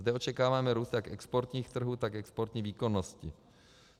Zde očekáváme růst jak exportních trhů, tak exportní výkonnosti.